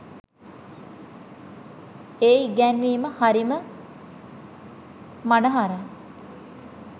ඒ ඉගැන්වීම හරිම මනහරයි.